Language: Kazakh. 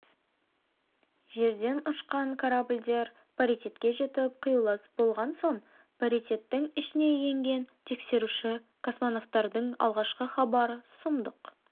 жерден ұшқан корабльдер паритетке жетіп қиюласып болған соң паритеттің ішіне енген тексеруші космонавтардың алғашқы хабары сұмдық